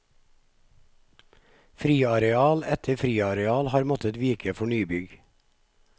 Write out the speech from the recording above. Friareal etter friareal har måttet vike for nybygg.